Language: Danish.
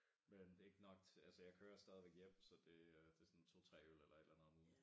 Men det ikke nok til altså jeg kører stadigvæk hjem så det øh det sådan 2 3 øl eller et eller andet om ugen